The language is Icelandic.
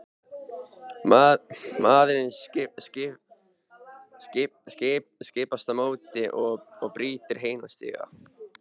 Maðurinn stimpast á móti og brýtur heilan stiga!